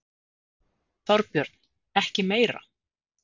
Þorbjörn: Ekki meira?